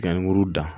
dan